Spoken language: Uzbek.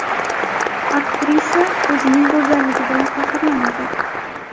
Aktrisa o‘zining go‘zalligi bilan faxrlanadi.